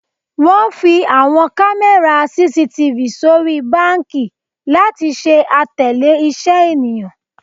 Wọn fi awọn kamẹra CCTV sori banki lati ṣe atẹle iṣẹ eniyan.